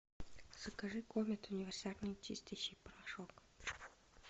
закажи комет универсальный чистящий порошок